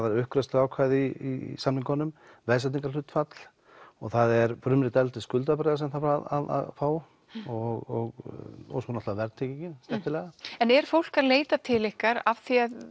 er uppgreiðsluákvæði í samningunum veðsetningarhlutfall og það er frumrit eldri skuldabréfa sem þarf að fá og svo náttúrulega verðtryggingin já en er fólk að leita til ykkar af